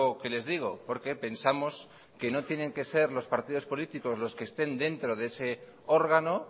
que les digo porque pensamos que no tienen que ser los partidos políticos los que estén dentro de ese órgano